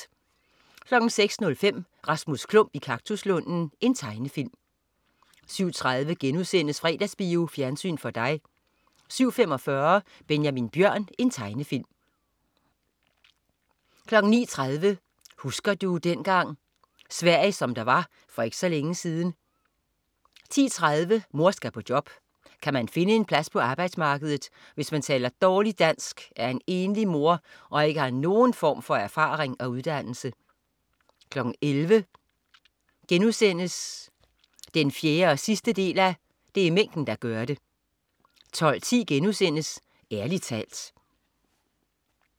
06.05 Rasmus Klump i kaktuslunden. Tegnefilm 07.30 Fredagsbio. Fjernsyn for dig* 07.45 Benjamin Bjørn. Tegnefilm 09.30 Husker du dengang ... Sverige som der var for ikke så længe siden 10.30 Mor skal på job. Kan man finde en plads på arbejdsmarkedet, hvis man taler dårligt dansk, er enlig mor og ikke har nogen form for erfaring og uddannelse? 11.00 Det er mængden der gør det 4:4* 12.10 Ærlig talt*